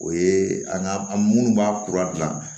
O ye an ka an munnu b'a kura dilan